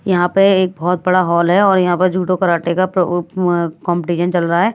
यहां पर एक बहुत बड़ा हॉल है और यहां पर जुटो कराटे का प उये कॉम्पिटिशन चल रहा है।